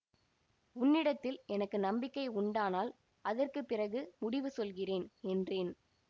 உன்னிடத்தில் எனக்கு நம்பிக்கை உண்டானால் அதற்கு பிறகு முடிவு சொல்கிறேன் என்றேன்